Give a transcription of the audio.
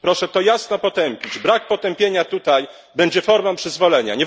Proszę to jasno potępić, brak potępienia tutaj będzie formą przyzwolenia.